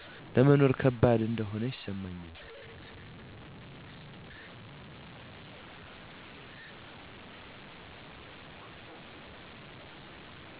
ለመኖር ከባድ እንደሆን ይሰማኛል።